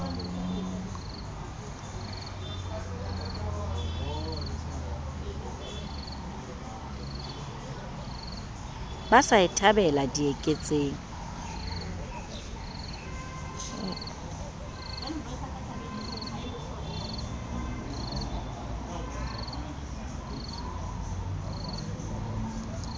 ba sa e thabela dieketseng